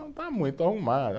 Não, está muito arrumado.